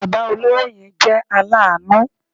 Bàbá olówó yẹn jẹ́ aláàánú